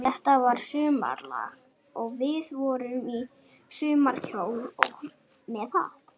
Þetta var að sumarlagi, og við vorum í sumarkjólum með hatta.